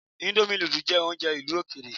Íńdómì nudù jẹ́ oúnjẹ ìlú òkèèrè.